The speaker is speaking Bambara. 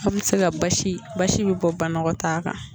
Aw bɛ se ka basi basi bɛ bɔ banɔgɔtaa kan